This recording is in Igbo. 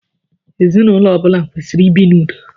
Ezinụlọ ọbula kwesiri ibi n'ụdo